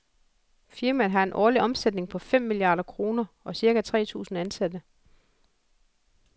Firmaet har en årlig omsætning på fem milliarder kroner og cirka tre tusind ansatte.